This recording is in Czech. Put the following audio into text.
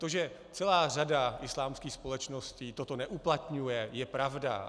To, že celá řada islámských společností toto neuplatňuje, je pravda.